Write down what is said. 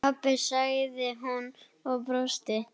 Pabba? sagði hún og brosti.